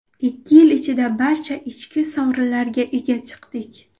Ikki yil ichida barcha ichki sovrinlarga ega chiqdik.